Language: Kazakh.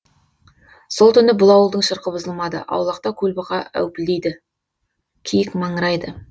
сол түні бұл ауылдың шырқы бұзылмады аулақта көлбұқа әупілдейді киік маңырайды